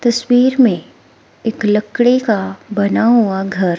तस्वीर में एक लकड़ी का बना हुआ घर--